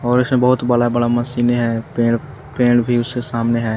और इसमें बहुत बड़ा बड़ा मशीनें हैं पेड़ पेड़ भी उसके सामने है।